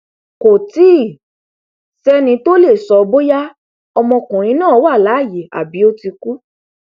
kò tí ì sẹni tó tí ì lè sọ bóyá ọmọkùnrin náà wà láàyè tàbí ó ti kú